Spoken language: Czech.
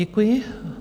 Děkuji.